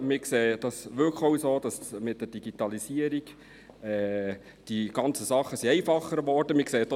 Wir sehen es wirklich auch so, dass mit der Digitalisierung die ganzen Dinge einfacher geworden sind.